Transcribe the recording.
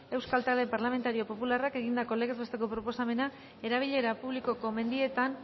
euskal talde parlamentario popularrak egindako legez besteko proposamena erabilera publikoko mendietan